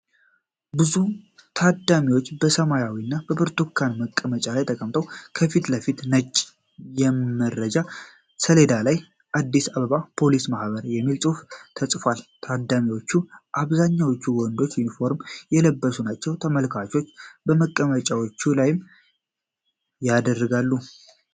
ብዙ ታዳሚዎች በሰማያዊና በብርቱካን መቀመጫዎች ላይ ተቀምጠዋል። ከፊት ለፊት፣ ነጭ የመረጃ ሰሌዳ ላይ "አድስ አበባ ፖሊስ ማህበር" የሚል ጽሑፍ ተጽፏል። ከታዳሚዎቹ አብዛኛዎቹ ወንዶችና ዩኒፎርም የለበሱ ናቸው። ተመልካቾቹ በመቀመጫዎቹ ላይምን ያደርጋሉ?